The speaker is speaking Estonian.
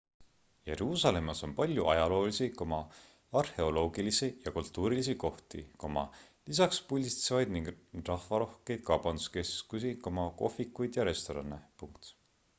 jeruusalemmas on palju ajaloolisi arheoloogilisi ja kultuurilisi kohti lisaks pulbitsevaid ning rahvarohkeid kaubanduskeskusi kohvikuid ja restorane